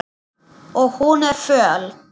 Og hún er föl.